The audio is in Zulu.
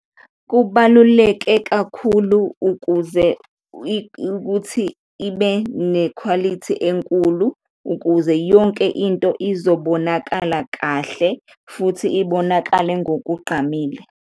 Kubaluleke kakhulu ukuze ukuthi ibe nekhwalithi enkulu ukuze yonke into izobonakala kahle futhi ibonakale ngokugqamile.